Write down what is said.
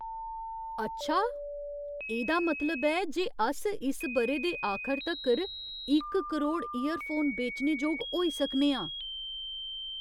अच्छा ! एह्दा मतलब ऐ जे अस इस ब'रे दे आखर तक्कर इक करोड़ ईयरफोन बेचने जोग होई सकने आं !